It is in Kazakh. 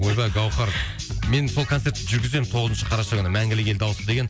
ойбай гаухар мен сол концертті жүргіземін тоғызыншы қараша күні мәңгілік ел дауысы деген